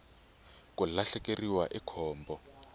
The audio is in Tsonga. ku lahlekeriwa i khombo